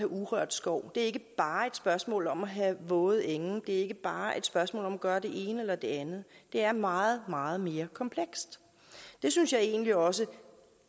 urørt skov det er ikke bare et spørgsmål om at have våde enge det er ikke bare et spørgsmål om at gøre det ene eller det andet det er meget meget mere komplekst det synes jeg egentlig også